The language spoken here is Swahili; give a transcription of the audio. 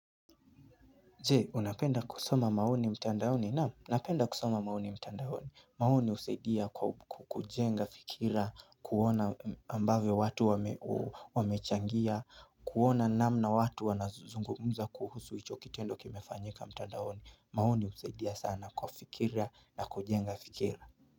Je, unapenda kusoma maoni mtandaoni? Naam, napenda kusoma maoni mtandaoni. Maoni husaidia kwa kujenga fikira, kuona ambavo watu wamechangia, kuona namna watu wanazungumza kuhusu ichokitendo kimefanyika mtandaoni. Maoni usaidia sana fikira na kujenga fikira.